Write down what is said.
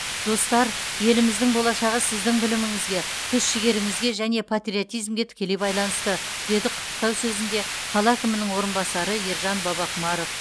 достар еліміздің болашағы сіздің біліміңізге күш жігеріңізге және патриотизмге тікелей байланысты деді құттықтау сөзінде қала әкімінің орынбасары ержан бабақұмаров